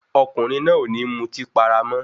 Ọkùnrin náà ò ní mutí para mọ́.